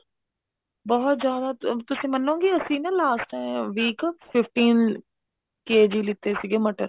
ਬਹੁਤ ਜ਼ਿਆਦਾ ਤੁਸੀਂ ਮੰਨੋਗੇ ਅਸੀਂ ਨਾ time week fifteen KGਲਿੱਤੇ ਸੀਗੇ ਮਟਰ